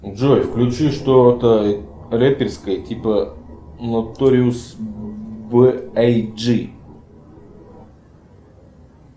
джой включи что то реперское типо ноториус бэ ай джи